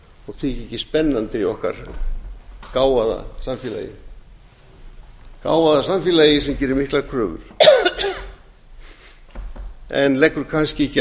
og þykja ekki spennandi í okkar gáfaða samfélagi sem gerir miklar kröfur en leggur kannski ekki